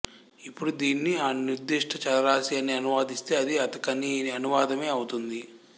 ఇప్పుడు దీనిని అనిర్ధిష్ట చలరాసి అని అనువదిస్తే అది అతకని అనువాదమే అవుతుంది